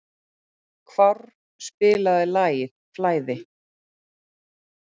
Hávarr, spilaðu lagið „Flæði“.